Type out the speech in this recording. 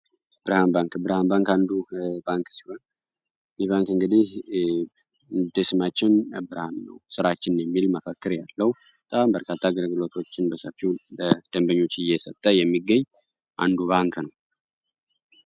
ብርሃን ባንክ ብርሃን ባንክ አንዱ ባንክ ሲሆን የባንክ እንግዲ እንደ ስማችን ብርሃን ነው ስራችን የሚል መፈከእር ያለው ሲሆን በርካታ አገልግልሎቶችን በሰፊው እየሰጠ የሚገኝ አንዱ ሲሆንክ ነው።